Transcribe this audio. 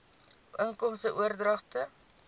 inkomste oordragte